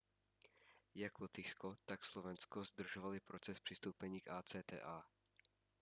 jak lotyšsko tak slovensko zdržovaly proces přistoupení k acta